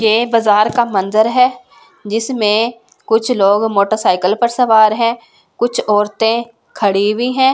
ये बाजार का मंजर है जिसमें कुछ लोग मोटरसाइकिल पर सवार है कुछ औरतें खड़ी हुई हैं।